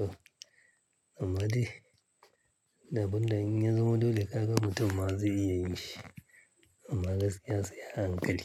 To, amma dai abunda in ya zama dole kaga mutum ma zai iya yi shi. Amma gaskiya sai hankali.